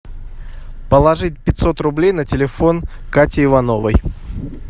положить пятьсот рублей на телефон кати ивановой